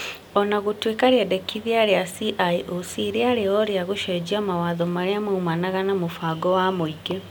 o na gũtuĩka rĩendekithia rĩa CIOC rĩarĩ o rĩa gũcenjia mawatho marĩa moimanaga na mũbango wa mũingĩ.